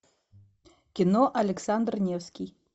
кино александр невский